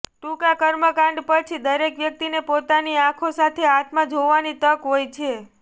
ટૂંકા કર્મકાંડ પછી દરેક વ્યક્તિને પોતાની આંખો સાથે આત્મા જોવાની તક હોય છે